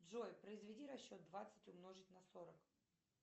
джой произведи расчет двадцать умножить на сорок